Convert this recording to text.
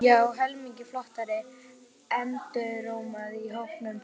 Svitaperlur spretta fram á enni hans.